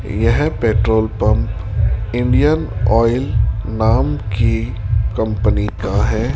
यह petrol pump Indian Oil नाम की कंपनी का है।